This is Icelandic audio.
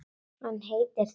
Hann heitir Þór.